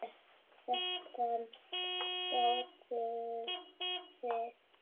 Þetta gátuð þið.